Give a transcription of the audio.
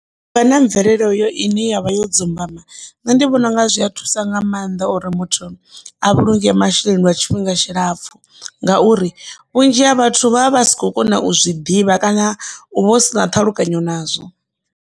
Uvha na mvelele uyo ine yavha yo dzumbama nṋe ndi vhona unga zwi a thusa nga maanḓa uri muthu a vhulunge masheleni lwa tshifhinga tshilapfhu ngauri vhunzhi ha vhathu vha vha vha si khou kona u zwi ḓivha kana u vha u si na ṱhalukanya nazwo.